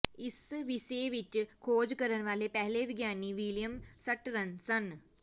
ਇਸ ਵਿਸ਼ੇ ਵਿਚ ਖੋਜ ਕਰਨ ਵਾਲੇ ਪਹਿਲੇ ਵਿਗਿਆਨੀ ਵਿਲੀਅਮ ਸਟਰਨ ਸਨ